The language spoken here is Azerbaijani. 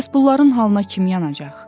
Bəs bunların halına kim yanacaq?